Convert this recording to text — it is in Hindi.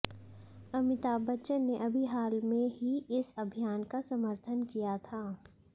अमिताभ बच्चन ने अभी हाल में ही इस अभियान का समर्थन किया था